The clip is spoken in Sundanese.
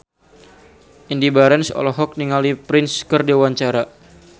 Indy Barens olohok ningali Prince keur diwawancara